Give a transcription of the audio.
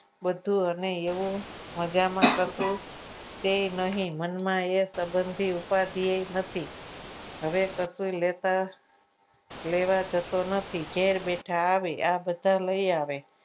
બધું અને એવું મજામાં કરતું કે નહીં મનમાં એ સંબંધથી ઉપાધિએ નથી હવે કશુંય લેતા લેવા જતું નથી ઘેર બેઠા આવે આ બધા લઈ આવે